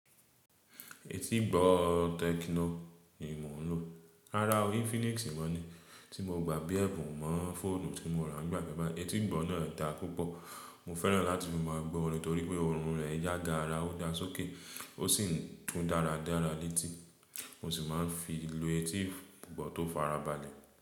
Etígbọ̀ techno ni mò ń lò. Rárá o Infinix mọ ni. Tí mo gbà bí ẹ̀bùn mọ́ fóònù tí mo rà nígbà kan báyì, etí ìgbọ̀ náà dá púpọ̀. Mo fẹ́ràn láti fi máa gbọ́ orin torí pé ọhùn rẹ̀ jágaara, ó dá sókè ó sì ń tún dáradára létí. Mo sì máa ń fi lo etígbọ̀ tó fara balẹ̀.